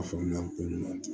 A faamuya ko ɲuman tɛ